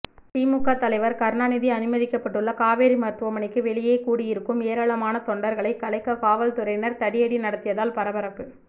திமுக தலைவர் கருணாநிதி அனுமதிக்கப்பட்டுள்ள காவேரி மருத்துவமனைக்கு வெளியே கூடியிருக்கும் ஏராளமான தொண்டர்களை கலைக்க காவல்துறையினர் தடியடி நடத்தியதால் பரபரப்பு